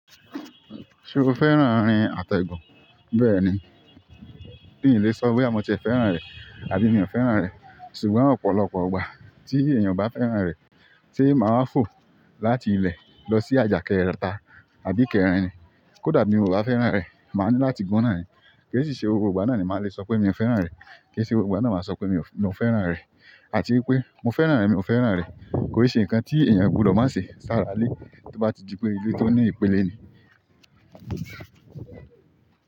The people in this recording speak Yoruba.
Ṣé o fẹ́ràn rin àtẹ̀gùn? Bẹ́ẹ̀ni mi le sọ boya mo tiẹ fẹ́ràn rẹ àbí mi o fẹ́ràn rẹ ṣùgbọ́n ọ̀pọ̀lọpọ̀ ìgbà tí èèyàn o bá fẹ́ràn rẹ̀, se máa wa fò láti ilẹ lọ sí àjà kẹta àbí kẹran ni? Kódà mi ò bá fẹ́ràn rẹ̀, màá ní láti gun naani. Ke si se gbogbo ìgbà náà maa le sọ pe mio fẹ́ràn rẹ. Ke e ṣe gbogbo ìgbà náà màá sọ pé mi ò fẹ́ràn rẹ̀. Àti wípé mo fẹ́ràn rẹ̀, mi ò fẹ́ràn rẹ̀. Kò o se ǹnkan tí èèyàn o gbudọ̀ má se sára ilé to bá dipé ile tó ní ìpele ni.